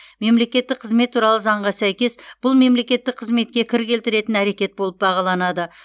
мемлекеттік қызмет туралы заңға сәйкес бұл мемлекеттік қызметке кір келтіретін әрекет болып бағаланады